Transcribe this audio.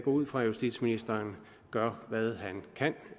ud fra at justitsministeren gør hvad han kan